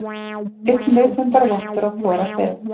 Einn vitundarvottur á hvora hlið.